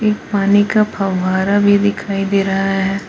पानी का फवारा भी दिखाई दे रहा है।